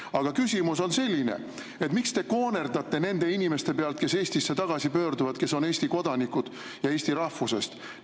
Aga küsimus on selline: miks te koonerdate nende inimeste pealt, kes Eestisse tagasi pöörduvad, kes on Eesti kodanikud ja eesti rahvusest?